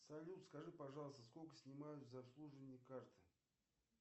салют скажи пожалуйста сколько снимают за обслуживание карты